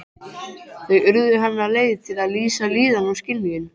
Þau urðu hennar leið til að lýsa líðan og skynjun.